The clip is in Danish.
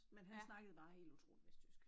Men han snakkede bare utrolig vestjysk